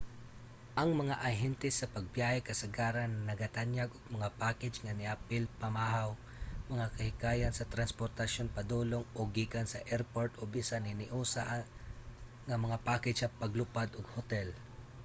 ang mga ahente sa pagbiyahe kasagarang nagatanyag og mga package nga apil ang pamahaw mga kahikayan sa transportasyon padulong/gikan sa erport o bisan hiniusa nga mga package sa paglupad ug hotel